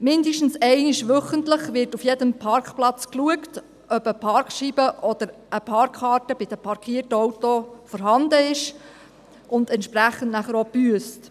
Mindestens einmal wöchentlich wird auf jedem Parkplatz geschaut, ob eine Parkscheibe oder eine Parkkarte bei den parkierten Autos vorhanden ist, und entsprechend wird nachher auch gebüsst.